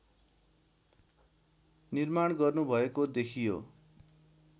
निर्माण गर्नुभएको देखियो